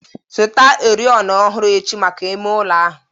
Zụta oriọna ọhụrụ echi maka ime ụlọ ahụ.